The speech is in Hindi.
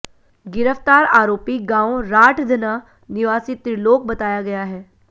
गिरफ्तार आरोपी गांव राठधना निवासी त्रिलोक बताया गया है